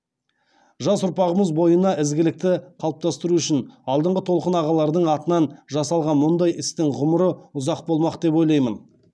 жас ұрпағымыз бойына ізгілікті қалыптастыру үшін алдыңғы толқын ағалардың атынан жасалған мұндай істің ғұмыры ұзақ болмақ деп ойлаймын